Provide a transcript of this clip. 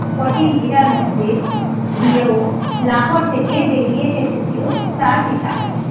কোচিন হীরার মধ্যে দিয়ে ও লাহোর থেকে বেরিয়ে এসেছিল চার